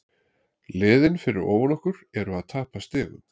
Liðin fyrir ofan okkur eru að tapa stigum.